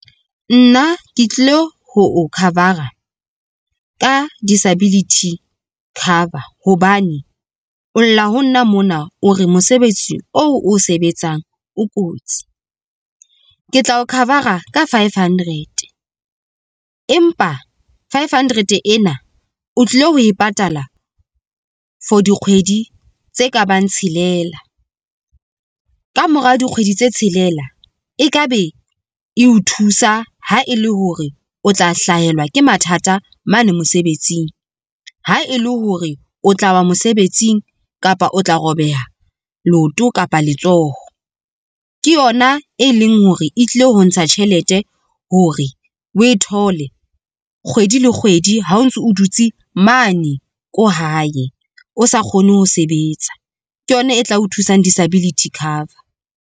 Nna ke tlilo ho o cover-a ka disability cover hobane o lla ho nna mona o re mosebetsi o o sebetsang o kotsi. Ke tla o cover-a ka five hundred, empa five hundred ena o tlilo ho e patala for dikgwedi tse kabang tshelela, kamora dikgwedi tse tshelela, ekabe e o thusa ha e le hore o tla hlahelwa ke mathata mane mosebetsing. Ha e le hore o tlawa mosebetsing kapa o tla robeha leoto kapa letsoho, ke yona e leng hore e tlile ho ntsha tjhelete hore o e thole kgwedi le kgwedi ha o ntso dutse mane ko hae o sa kgone ho sebetsa, ke yona e tla o thusang disability cover.